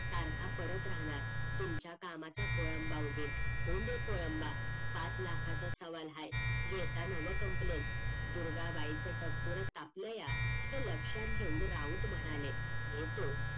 सारखा परत राहणार तुमच्या कामाचा खोळंबा उगेल होऊदेत खोळंबा पाच लाखाचा सवाल आहे घेतानाव complain दुर्गा बाईचं टपोर तापलं या हे लक्षात घेऊन राऊत म्हणाले घेतो